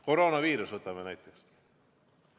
Koroonaviirus näiteks.